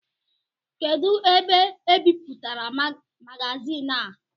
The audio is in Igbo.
Kedụ ebe ebipụtara magazin a?